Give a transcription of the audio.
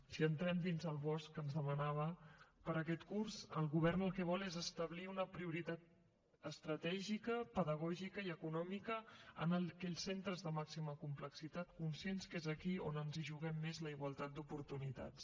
si entrem dins el bosc que ens ho demanava per a aquest curs el govern el que vol és establir una prioritat estratègica pedagògica i econòmica en aquells centres de màxima complexitat conscients que és aquí on ens juguem més la igualtat d’oportunitats